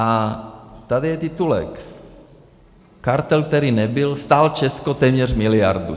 A tady je titulek: "Kartel, který nebyl, stál Česko téměř miliardu."